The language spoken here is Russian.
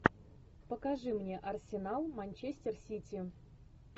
покажи мне арсенал манчестер сити